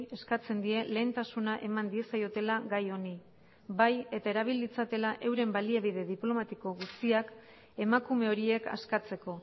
eskatzen die lehentasuna eman diezaiotela gai honi bai eta erabil ditzatela euren baliabide diplomatiko guztiak emakume horiek askatzeko